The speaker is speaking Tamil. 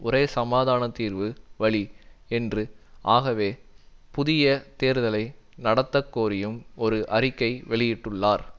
ஒரே சமாதான தீர்வு வழி என்று ஆகவே புதிய தேர்தலை நடத்தக்கோரியும் ஒரு அறிக்கை வெளியிட்டுள்ளார்